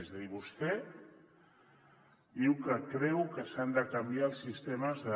és a dir vostè diu que creu que s’han de canviar els sistemes de